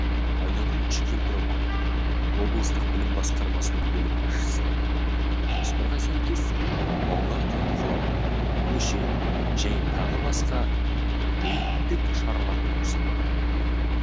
айнагүл үшкемпірова облыстық білім басқармасының бөлім басшысы жоспарға сәйкес балалар түнгі қалада көше және тағы басқа да рейдтік шаралар өткізіліп тұрады